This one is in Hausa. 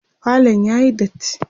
falon yayi datti